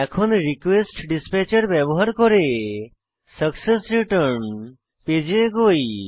এখন রিকোয়েস্টডিসপ্যাচের ব্যবহার করে সাকসেসরেটার্ন পেজে এগোই